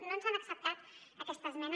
no ens han acceptat aquesta esmena